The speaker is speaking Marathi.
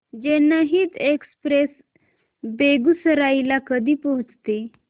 जनहित एक्सप्रेस बेगूसराई ला कधी पोहचते